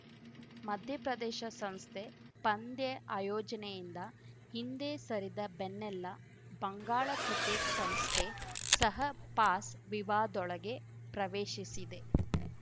ಮಧ್ಯಪ್ರದೇಶ ಸಂಸ್ಥೆ ಪಂದ್ಯ ಆಯೋಜನೆಯಿಂದ ಹಿಂದೆ ಸರಿದ ಬೆನ್ನಲ್ಲಾ ಬಂಗಾಳ ಕ್ರಿಕೆಟ್‌ ಸಂಸ್ಥೆ ಸಹ ಪಾಸ್‌ ವಿವಾದೊಳಗೆ ಪ್ರವೇಶಿಸಿದೆ